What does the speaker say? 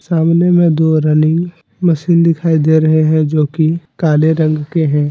सामने में दो रनिंग मशीन दिखाई दे रहे हैं जो कि काले रंग के हैं।